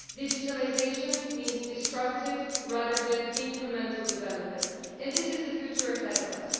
Digitalisation means disruptive, rather than incremental, development and this is the future ahead of us.